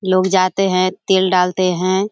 लोग जाते हैं तेल डालते हैं।